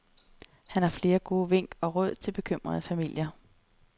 Han har flere gode vink og råd til bekymrede familier.